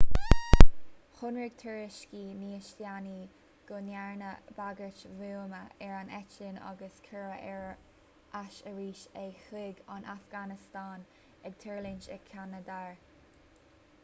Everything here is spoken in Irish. shonraigh tuairiscí níos déanaí go ndearnadh bagairt bhuama ar an eitleán agus cuireadh ar ais arís é chuig an afganastáin ag tuirlingt i kandahar